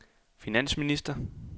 finansminister